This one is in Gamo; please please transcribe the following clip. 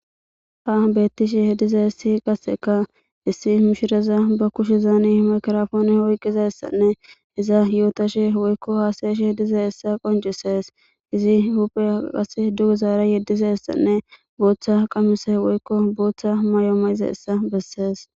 ha beettishi hediza issi qasseka issi mishiraza ba kushe zaani hmikrfooni oyqqiza ssanne iza yootashe woykko haasayesh hediza issa qoncisees izi huphe qase dugu zaara yeddiza hessanne booththa qamise woykko booththa may7omayiza essa bessees